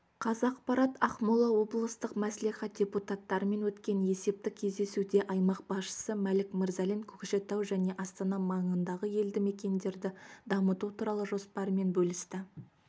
қазақпарат ақмола облыстық мәслихат депутаттарымен өткен есептік кездесуде аймақ басшысы мәлік мырзалин көкшетау жне астана маңындағы елдімекендерді дамыту туралы жоспарымен бөлісті